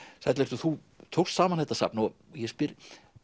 sæll vertu þú tókst saman þetta safn og ég spyr